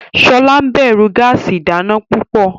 Shola níbẹrù gáàsì ìdáná púpọ.